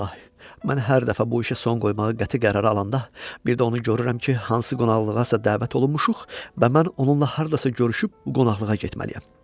İlahi, mən hər dəfə bu işə son qoymağa qəti qərar alanda, bir də onu görürəm ki, hansı qonaqlığasa dəvət olunmuşuq və mən onunla hardasa görüşüb bu qonaqlığa getməliyəm.